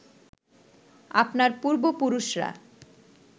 আপনার পূর্ব পুরুষরা